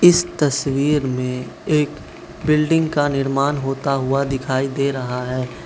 इस तस्वीर में एक बिल्डिंग का निर्मान होता हुआ दिखाई दे रहा है।